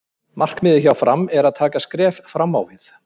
Markmiðið hjá Fram er að taka skref fram á við.